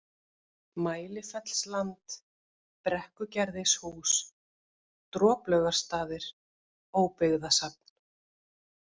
Mælifellsland, Brekkugerðishús, Droplaugarstaðir, Óbyggðasafn